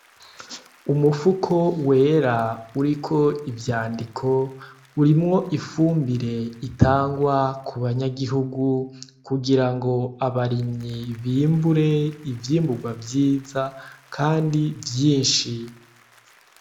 Umufuko wera uriko ivyandiko urimwo ifumbire ritangwa kuba nyagihugu kugira ngo abarimyi bimbure ivyimburwa vyiza kandi vyinshi.